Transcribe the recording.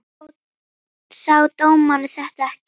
Sá dómarinn þetta ekki?